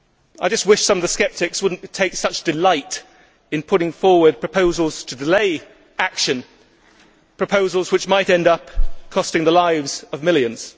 I just wish some of the sceptics would not take such delight in putting forward proposals to delay action, proposals which might end up costing the lives of millions.